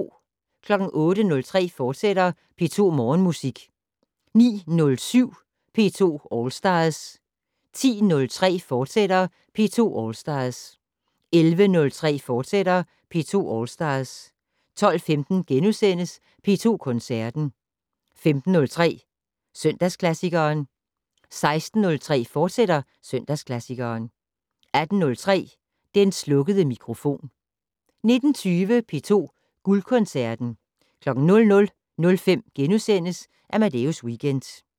08:03: P2 Morgenmusik, fortsat 09:07: P2 All Stars 10:03: P2 All Stars, fortsat 11:03: P2 All Stars, fortsat 12:15: P2 Koncerten * 15:03: Søndagsklassikeren 16:03: Søndagsklassikeren, fortsat 18:03: Den slukkede mikrofon 19:20: P2 Guldkoncerten 00:05: Amadeus Weekend *